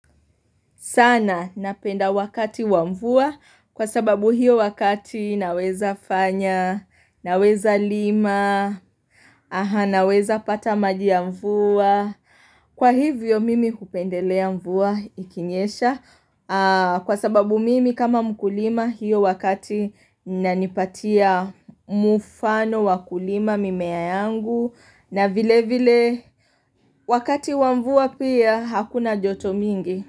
Sana napenda wakati wa mvua kwa sababu hiyo wakati naweza fanya, naweza lima, naweza pata maji ya mvua. Kwa hivyo mimi hupendelea mvua ikinyesha kwa sababu mimi kama mkulima hiyo wakati inanipatia mfano wakulima mimea yangu na vile vile wakati wa mvua pia hakuna joto mingi.